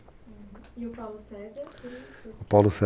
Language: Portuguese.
E o Paulo César?